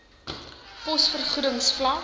pos vergoedings vlak